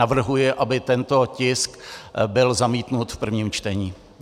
Navrhuji, aby tento tisk byl zamítnut v prvním čtení.